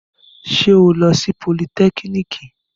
Ṣé ó lọ sí politẹ́kìnìkì?